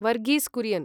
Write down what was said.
Varghese Kurien